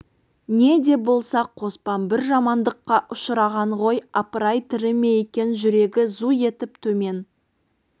не де болса қоспан бір жамандыққа ұшыраған ғой апыр-ай тірі ме екен жүрегі зу етіп төмен